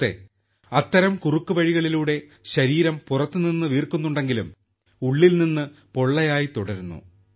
സുഹൃത്തേ അത്തരം കുറുക്കുവഴികളിലൂടെ ശരീരം പുറത്തു നിന്ന് വീർക്കുന്നുണ്ടെങ്കിലും ഉള്ളിൽ നിന്ന് പൊള്ളയായി തുടരുന്നു